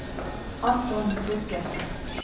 Anton Bugge